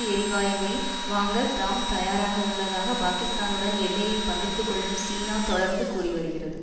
எரிவாயுவை வாங்க தாம் தயாராகவுள்ளதாக பாகிஸ்தானுடன் எல்லையை பகிர்ந்துகொள்ளும் சீனா தொடர்ந்து கூறி வருகிறது